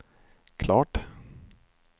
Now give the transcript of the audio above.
klart